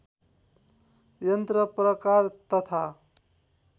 यन्त्र प्रकार तथा